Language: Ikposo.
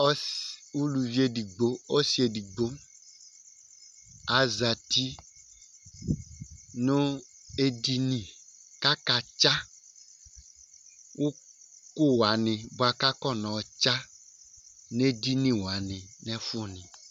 Ʋlʋvi ɛdigbo, ɔsi ɛdigbo azɛti nʋ edini kʋ akatsa ʋku wani bʋakʋ akɔnɔ tsa nʋ edini wani nʋ ɛfu ni